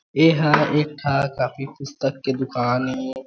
एहा एक ठा कॉपी पुस्तक के दुकान ए।